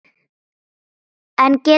En get ekkert sagt.